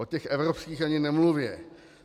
O těch evropských ani nemluvě.